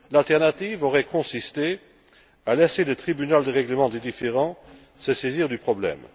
L'alternative aurait consisté à laisser le tribunal de règlement des différends se saisir du problème.